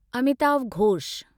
Amitav Ghosh